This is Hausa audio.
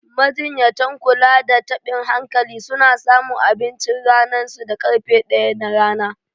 Majinyatan kula da tabin hankali suna samun abinchin ranan su da karfe ɗaya na rana.